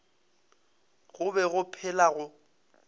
go be go phela go